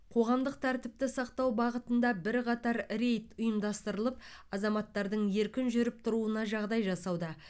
қоғамдық тәртіпті сақтау бағытында бірқатар рейд ұйымдастырып азаматтардың еркін жүріп тұруына жағдай жасауда